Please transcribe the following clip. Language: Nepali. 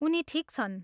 उनी ठिक छन्।